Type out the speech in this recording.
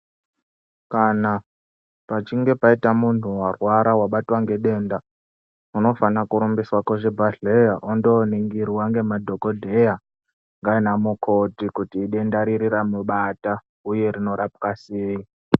Kana pachinge paita muntu varwara vabatwa ngedenda unofana kurumbiswa kuzvibhedhleya ondoningirwa ngemadhogodheya ngana mukoti. Kuti idenda riri ramubata uye rinorapwa sei.